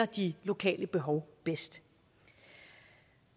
de lokale behov bedst